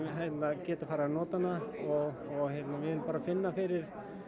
geta farið að nota hana og við erum að finna fyrir